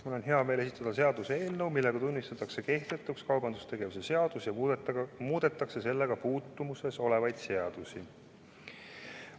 Mul on hea meel esitada seaduseelnõu, millega tunnistatakse kehtetuks kaubandustegevuse seadus ja muudetakse sellega puutumuses olevaid seadusi.